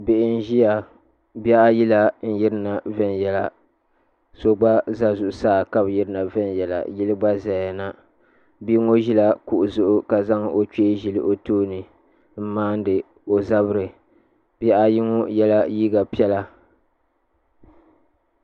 Doo n ʒiya bihi ayi la n yirina viɛnyɛla so gba ʒɛ zuɣusaa ka bi yirina viɛnyɛla yili gba ʒɛya na bia ŋo ʒila kuɣu zuɣu ka zaŋ yino n ʒili o tooni n maandi o zabiri bihi ayi ŋo yɛla liiga piɛla